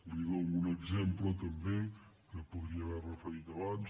li dono un exemple també que podria haver referit abans